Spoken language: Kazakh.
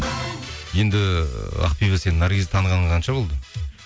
енді ақбибі сенің наргизді танығаныңа қанша болды